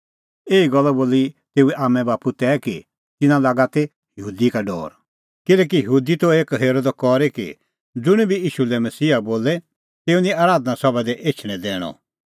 एही गल्ला बोली तेऊए आम्मांबाप्पू तै कि तिन्नां लागा ती यहूदी का डौर किल्हैकि यहूदी त एक्कअ हेरअ द करी कि ज़ुंण बी ईशू लै मसीहा बोले तेऊ निं आराधना सभा दी एछणैं दैणअ